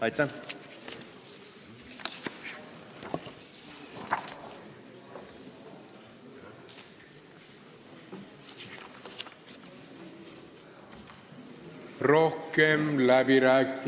Aitäh!